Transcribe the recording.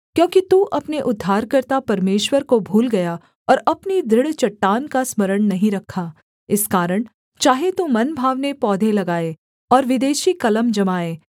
क्योंकि तू अपने उद्धारकर्ता परमेश्वर को भूल गया और अपनी दृढ़ चट्टान का स्मरण नहीं रखा इस कारण चाहे तू मनभावने पौधे लगाए और विदेशी कलम जमाये